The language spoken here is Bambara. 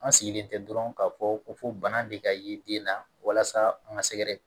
An sigilen tɛ dɔrɔn k'a fɔ ko bana de ka ye den na walasa an ka sɛgɛ